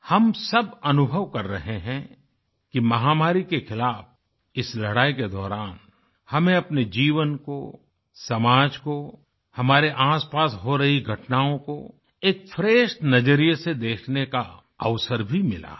हम सब अनुभव कर रहे हैं कि महामारी के खिलाफ़ इस लड़ाई के दौरान हमें अपने जीवन को समाज को हमारे आपपास हो रही घटनाओं को एक फ्रेश नज़रिए से देखने का अवसर भी मिला है